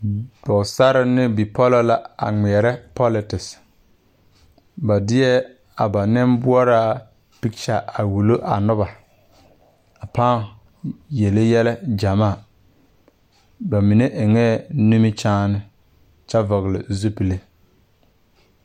Pɔɔsarre neŋ bipɔlɔ la ngmɛɛrɛ pɔletis ba deɛɛ a ba neŋ buoɔraa peekyɛ a wullo a noba a pãã yele yɛlɛ gyamaa ba mine eŋɛɛ nimikyaane kyɛ vɔgle zupile.